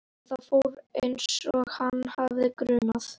Vibeka, hvað er opið lengi í Brynju?